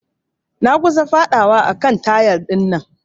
Na kusan fadawa a kan tayal dinnan.